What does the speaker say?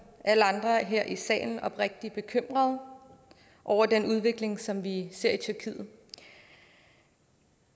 alle andre her i salen oprigtig bekymret over den udvikling som vi ser i tyrkiet